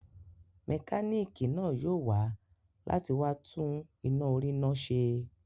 Mẹkánìkì náà yóò wá láti wá tún iná orí náà ṣe